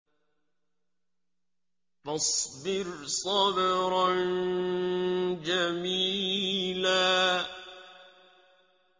فَاصْبِرْ صَبْرًا جَمِيلًا